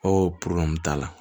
Ko t'a la